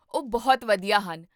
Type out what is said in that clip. ਉਹ ਬਹੁਤ ਵਧੀਆ ਹਨ